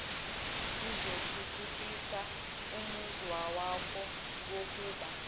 kuzothuthukisa umuzwawakho wokuba